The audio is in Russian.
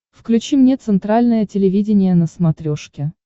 включи мне центральное телевидение на смотрешке